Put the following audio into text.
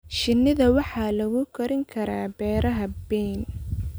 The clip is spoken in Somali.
Shinnida waxaa lagu korin karaa beeraha bean.